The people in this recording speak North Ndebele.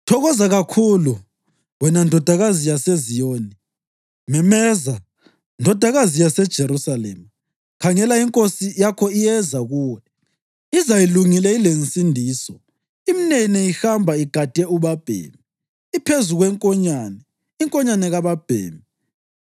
Thokoza kakhulu, wena Ndodakazi yaseZiyoni! Memeza, Ndodakazi yaseJerusalema! Khangela, inkosi yakho iyeza kuwe, iza ilungile ilensindiso, imnene, ihamba igade ubabhemi, iphezu kwenkonyane, inkonyane kababhemi.